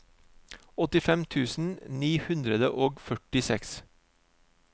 åttifem tusen ni hundre og førtiseks